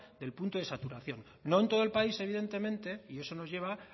al punto de saturación no en todo el país evidentemente y eso nos lleva